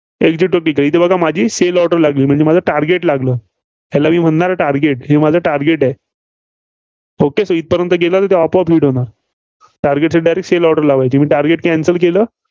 exit होतं का? इथं बघा माझी sale order लागली म्हणजे माझं target लागलं. याला मी म्हणणार target माझं target आहे. okay इथंपर्यंत गेले तर ते आपोआप hit होणार. target हे direct sale order लावायची. मी target cancel केलं.